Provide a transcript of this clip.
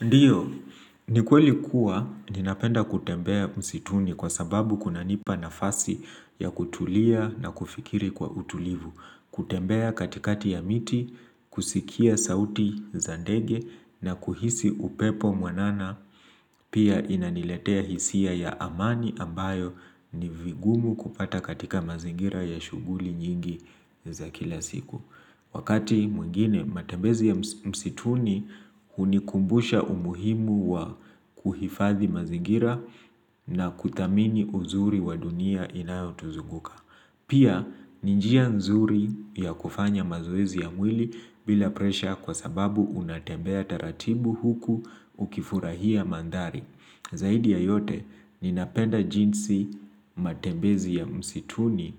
Ndiyo, ni kweli kuwa ninapenda kutembea msituni kwa sababu kunanipa nafasi ya kutulia na kufikiri kwa utulivu. Kutembea katikati ya miti, kusikia sauti za ndege na kuhisi upepo mwanana pia inaniletea hisia ya amani ambayo ni vigumu kupata katika mazingira ya shughuli nyingi za kila siku. Wakati mwingine matembezi ya msituni hunikumbusha umuhimu wa kuhifadhi mazingira na kuthamini uzuri wa dunia inayo tuzunguka. Pia ni njia nzuri ya kufanya mazoezi ya mwili bila pressure kwa sababu unatembea taratimbu huku ukifurahia mandhari. Zaidi ya yote, ninapenda jinsi matebezi ya msituni